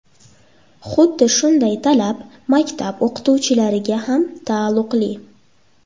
Xuddi shunday talab maktab o‘qituvchilariga ham taalluqli.